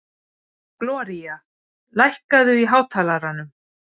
Gloría, lækkaðu í hátalaranum.